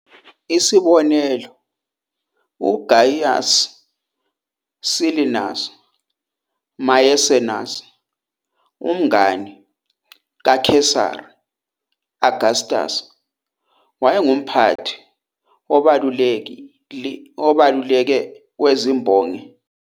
Isibonelo, uGaius Cilnius Maecenas, umngani kaKesari Augustus, wayengumphathi obalulekile wezimbongi zika-Augustan, kufaka phakathi bobabili uHorace noVirgil.